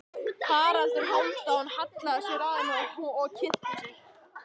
Haraldur Hálfdán hallaði sér að henni og kynnti sig.